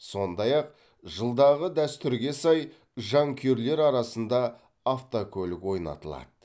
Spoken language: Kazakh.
сондай ақ жылдағы дәстүрге сай жанкүйерлер арасында автокөлік ойнатылады